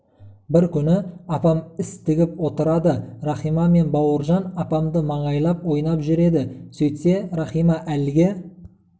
бір күні апам іс тігіп отырады рахима мен бауыржан апамды маңайлап ойнап жүреді сөйтсе рахима әлгі